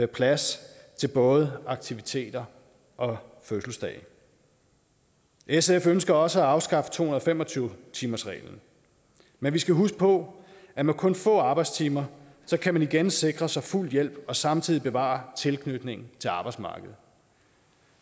plads til både aktiviteter og fødselsdage sf ønsker også at afskaffe to hundrede og fem og tyve timersreglen men vi skal huske på at med kun få arbejdstimer kan man igen sikre sig fuld hjælp og samtidig bevare tilknytningen til arbejdsmarkedet